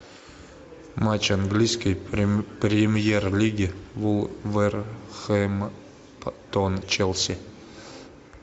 матч английской премьер лиги вулверхэмптон челси